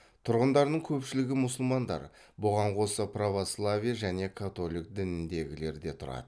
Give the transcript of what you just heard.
тұрғындарының көпшілігі мұсылмандар бұған қоса православие және католик дініндегілер де тұрады